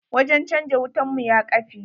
Wajen canja wutan mu ya kafe.